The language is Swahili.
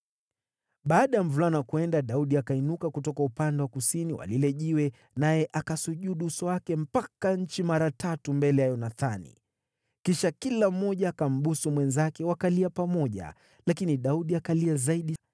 Baada ya mvulana kwenda, Daudi akainuka kutoka upande wa kusini wa lile jiwe, naye akasujudu uso wake mpaka nchi mara tatu mbele ya Yonathani. Kisha kila mmoja akambusu mwenzake, wakalia pamoja. Lakini Daudi akalia zaidi.